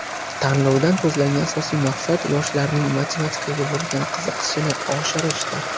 Tanlovdan ko‘zlangan asosiy maqsad yoshlarning matematikaga bo‘lgan qiziqishini oshirishdir.